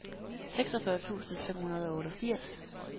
seksogfyrre tusind fem hundrede og otteogfirs